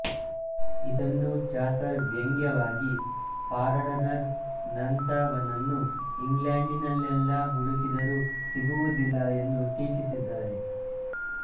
ಇದನ್ನು ಚಾಸರ್ ವ್ಯಂಗ್ಯವಾಗಿ ಪಾರಡನರ್ ನಂತವನನ್ನು ಇಂಗ್ಲೆಂಡಿನಲ್ಲೆಲ್ಲಾ ಹುಡುಕಿದರು ಸಿಗುವುದಿಲ್ಲ ಎಂದು ಟೀಕಿಸಿದ್ದಾರೆ